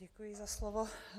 Děkuji za slovo.